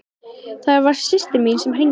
Það var systir mín sem hringdi.